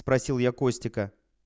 спросил я костика